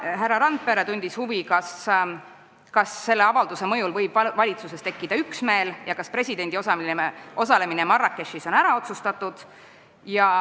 Härra Randpere tundis huvi, kas selle avalduse mõjul võib valitsuses üksmeel tekkida ja kas presidendi osalemine Marrakechis on ära otsustatud.